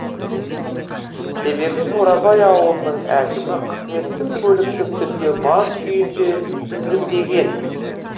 себебі бурабай ауылының әкімі қызметтік көлікті түнде мас күйінде тізгіндеген